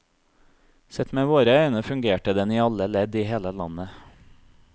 Sett med våre øyne fungerte den i alle ledd i hele landet.